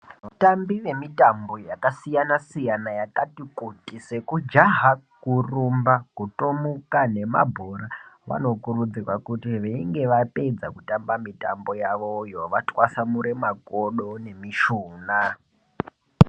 Vatambi vemitambo yakasiyana-siyana yakati kuti, sekujaha, kurumba, kutomuka, nemabhora, vanokurudzirwa kuti veinge vapedza kutamba mitambo yavoyo ,vatwasamure makodo nemishuna.